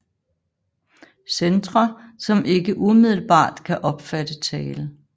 Centre som ikke umiddelbart kan opfatte tale